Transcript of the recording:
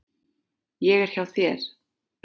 Ég er hjá þér.